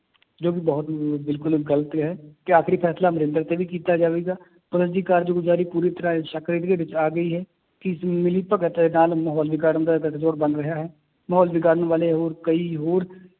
ਜੋ ਕਿ ਬਹੁਤ ਬਿਲਕੁਲ ਹੀ ਗ਼ਲਤ ਹੈ, ਤੇ ਆਖਰੀ ਫੈਸਲਾ ਅਮਰਿੰਦਰ ਤੇ ਵੀ ਕੀਤਾ ਜਾਵੇਗਾ ਕਾਰਜਗੁਜ਼ਾਰੀ ਪੂਰੀ ਤਰ੍ਹਾਂ ਸ਼ੱਕ ਦੇ ਘੇਰੇ ਵਿੱਚ ਆ ਗਈ ਹੈ, ਕਿ ਇਸ ਮਿਲੀ ਭਗਤ ਦੇ ਨਾਲ ਮਾਹੌਲ ਵਿਗਾੜਨ ਦਾ ਗਠਜੋੜ ਬਣ ਰਿਹਾ ਹੈ, ਮਾਹੌਲ ਵਿਗਾੜਨ ਵਾਲੇ ਹੋਰ ਕਈ ਹੋਰ